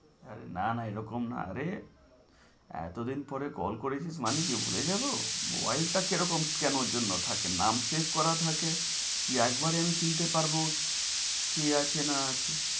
না না এরকম না রে এতো দিন পরে call করেছিস মানে কি ভুলে যাবো মোবাইলটা কিরকম কেনোর জন্য থাকে নাম save করা থাকে, কি একবারে আমি চিনতে পারবো কে আছে না আছে।